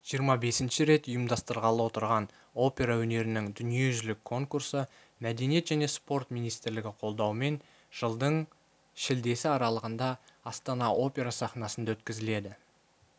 жиырма бесінші рет ұйымдастырылғалы отырған опера өнерінің дүниежүзілік конкурсы мәдениет және спорт министрлігі қолдауымен жылдың шілдесі аралығында астана опера сахнасында өткізіледі